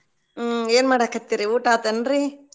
ಹ್ಮ್‌ ಏನ್ ಮಾಡಕತ್ತಿರಿ ಊಟ ಆತೇನ್ರೀ?